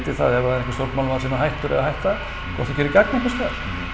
það er einhver stjórnmálamaður sem er hættur eða að hætta og gerir gagn einhvers staðar